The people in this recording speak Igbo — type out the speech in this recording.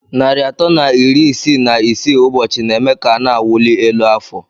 Narị atọ na iri isii na isii ụbọchị na-eme ka a na-awụli elu afọ.